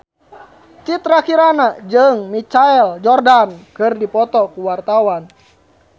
Citra Kirana jeung Michael Jordan keur dipoto ku wartawan